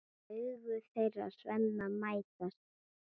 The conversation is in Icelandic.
Augu þeirra Svenna mætast.